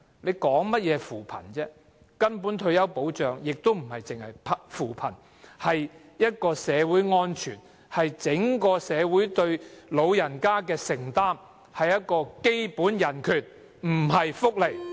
說甚麼扶貧，根本退休保障不只是扶貧，而是社會保障，是整個社會對長者的承擔，是基本人權，不是福利。